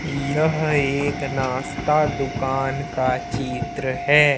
यह एक नाश्ता दुकान का चित्र है।